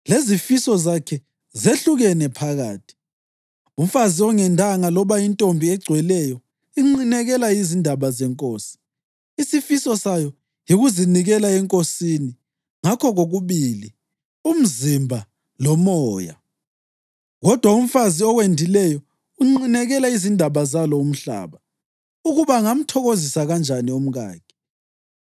lezifiso zakhe zehlukene phakathi. Umfazi ongendanga loba intombi egcweleyo inqinekela izindaba zeNkosi: Isifiso sayo yikuzinikela eNkosini ngakho kokubili umzimba lomoya. Kodwa umfazi owendileyo unqinekela izindaba zalo umhlaba, ukuba angamthokozisa kanjani umkakhe.